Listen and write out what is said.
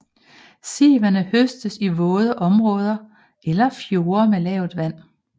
Sivene høstes i våde områder eller fjorde med lavt vand